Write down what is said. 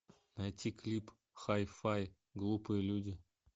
найти клип хай фай глупые люди